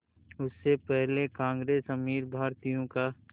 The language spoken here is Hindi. उससे पहले कांग्रेस अमीर भारतीयों का